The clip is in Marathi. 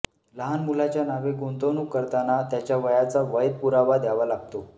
लहान मुलाच्या नावे गुंतवणूक करताना त्याच्या वयाचा वैध पुरावा द्यावा लागतो